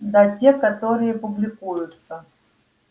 да те которые публикуются